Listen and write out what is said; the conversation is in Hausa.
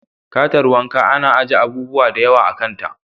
Katar wanka ana aje abubuwa da yawa a kanta.